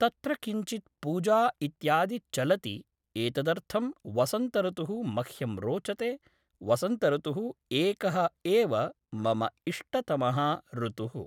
तत्र किञ्चित् पूजा इत्यादि चलति एतदर्थं वसन्तॠतुः मह्यं रोचते वसन्तॠतुः एकः एव मम इष्टतमः ॠतुः